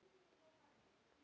En er hættan liðin hjá?